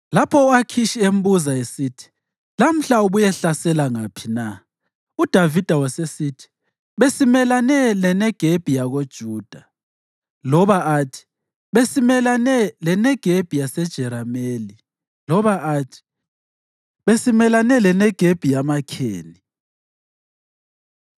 Lapho u-Akhishi embuza esithi, “Lamhla ubuyehlasela ngaphi na?” UDavida wayesithi, “Besimelane leNegebi yakoJuda,” loba athi, “Besimelane leNegebi yaseJerameli,” loba athi, “Besimelane leNegebi yama-Kheni.”